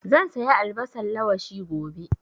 Zan saya albasan lawashi gobe